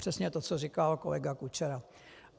Přesně to, co říkal kolega Kučera.